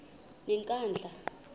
yenkandla